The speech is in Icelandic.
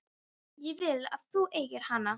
Ég vil að þú eigir hana.